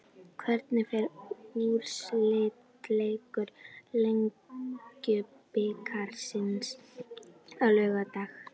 Hvernig fer úrslitaleikur Lengjubikarsins á laugardag?